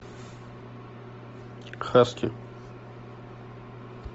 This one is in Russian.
хаски